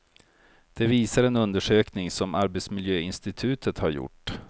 Det visar en undersökning som arbetsmiljöinstitutet har gjort.